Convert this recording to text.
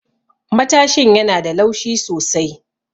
Matashin yana da laushi sosai.